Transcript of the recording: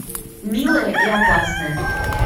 милая и опасная